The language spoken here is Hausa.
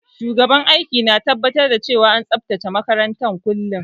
Shugaban aiki na tabbatar da cewa an tsabtace makaranta kullum